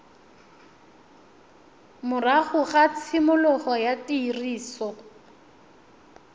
morago ga tshimologo ya tiriso